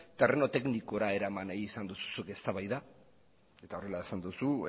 terreno teknikora eraman nahi izan duzu zuk eztabaida eta horrela esan duzu